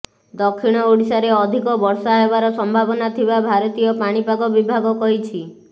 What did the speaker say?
ଦକ୍ଷିଣ ଓଡ଼ିଶାରେ ଅଧିକ ବର୍ଷା ହେବାର ସମ୍ଭାବନା ଥିବା ଭାରତୀୟ ପାଣିପାଗ ବିଭାଗ କହିଛି